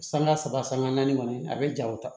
Sanga saba sanga naani kɔni a bɛ ja o ta